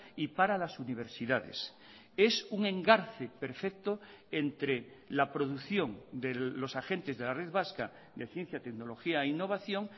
y para las universidades es un engarce perfecto entre la producción de los agentes de la red vasca de ciencia tecnología e innovación